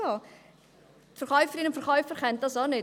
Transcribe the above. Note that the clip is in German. Die Verkäuferinnen und Verkäufer können dies auch nicht.